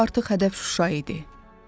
İndi artıq hədəf Şuşa idi.